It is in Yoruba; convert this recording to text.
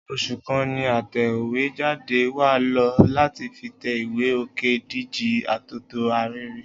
Oṣù kan ni atẹ̀wéjáde wa lò láti fi tẹ ìwé Òkédìjí Atótó Arére